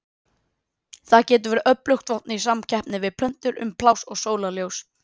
Þetta getur verið öflugt vopn í samkeppni við plöntur um pláss og sólarljós.